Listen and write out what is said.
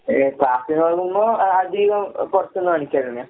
ഏഹ് ക്ലാസ്സീപ്പോകുമ്പോ അ അധികം എഹ് പൊറത്ത്ന്ന് മേടിക്കലന്നെയാ.